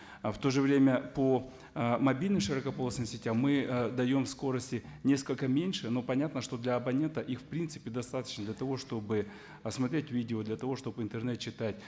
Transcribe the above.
в то же время по ы мобильным широкополосным сетям мы ы даем скорости несколько меньше но понятно что для абонента их впринципе достаточно для того чтобы посмотреть видео для того чтобы интернет читать